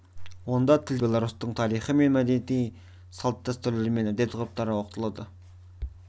онда тілден өзге белорустардың тарихы мен мәдениеті салт-дәстүрлері мен әдет-ғұрыптары оқытылады